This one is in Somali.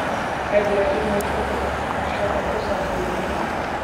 waxaa jira iimayl ka timid asha oo ku saabsan juma